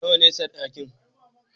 Nawa ne sadakin?